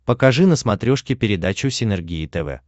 покажи на смотрешке передачу синергия тв